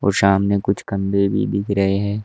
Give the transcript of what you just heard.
और सामने कुछ खंबे भी दिख रहे हैं।